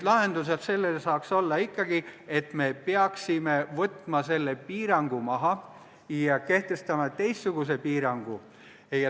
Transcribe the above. Lahendus sellele saaks olla ikkagi see, et me peaksime võtma selle piirangu maha ja kehtestama teistsuguse piirangu.